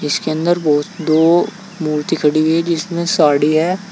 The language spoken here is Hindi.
इसके अंदर बहो दो मूर्ति खड़ी हुई है जिसमें साड़ी है।